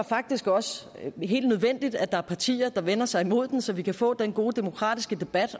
faktisk også helt nødvendigt at der er partier der vender sig imod den så vi kan få den gode demokratiske debat